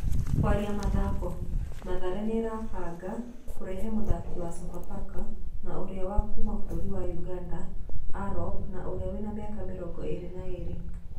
(kũaria mathako) Mathare nĩmarebanga kũrehe mũthaki wa Sofapaka na ũrĩa wa kuma bũrũri wa Ũganda Arop na ũrĩa wĩna mĩaka mĩrongo ĩrĩ na ĩrĩ.